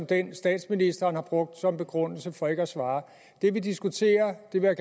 den statsministeren har brugt som begrundelse for ikke at svare det vi diskuterer det vil